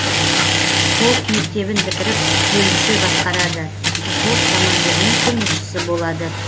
полк мектебін бітіріп бөлімше басқарады взвод командирінің көмекшісі болады